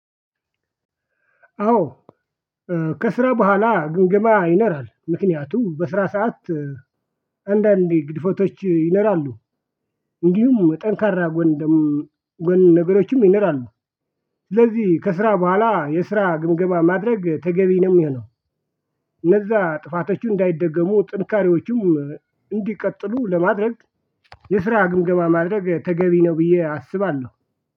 አዎ። ከስራ በኋላ ግምገማ ይኖራል ምክንያቱም በስራ ሰዓት አንዳንዴ ግድፎቶች ይኖራሉ። እንዲሁም ጠንካራ ጎን ደግሞ ጎን ነገሮችም ይኖራሉ። ስለዚህ ከስራ በኋላ የስራ ግምገማ ማድረግ ተገቢ ነው የሚሆነው። እነዛ ጥፋቶቹ እንዳይደገሙ ጥንካሬዎቹም እንዲቀጥሉ ለማድረግ የስራ ግምገማ ማድረግ ተገቢ ነው ብዬ አስባለሁ